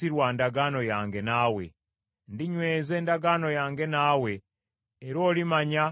Ndinyweza endagaano yange naawe, era olimanya nga nze Mukama Katonda,